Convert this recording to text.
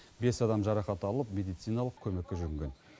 бес адам жарақат алып медициналық көмекке жүгінген